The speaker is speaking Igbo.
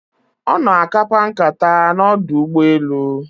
Ono akapa nkata na ọdụ ụgbọ elu